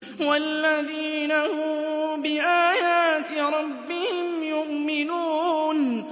وَالَّذِينَ هُم بِآيَاتِ رَبِّهِمْ يُؤْمِنُونَ